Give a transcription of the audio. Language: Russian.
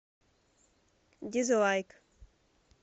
дизлайк